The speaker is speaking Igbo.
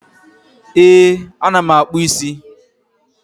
Ee, ana m akpụ isi